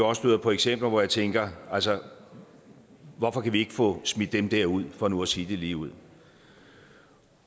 også på eksempler hvor jeg tænker altså hvorfor kan vi ikke få smidt dem der ud for nu at sige det ligeud